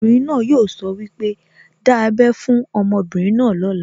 Obìnrin náà yóò sọ wípé, 'Dá ábẹ́ fún ọmọbìnrin náà lóla'